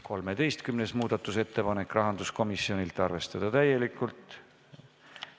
13. muudatusettepanek, rahanduskomisjonilt, arvestada täielikult.